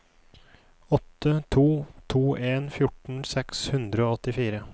åtte to to en fjorten seks hundre og åttifire